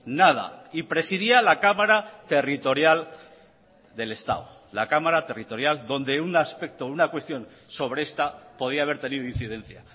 nada y presidía la cámara territorial del estado la cámara territorial donde un aspecto una cuestión sobre esta podía haber tenido incidencia